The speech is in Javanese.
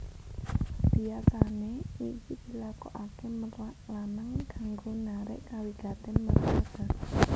Biyasané iki dilakokaké merak lanang kanggo narik kawigatèn merak wadon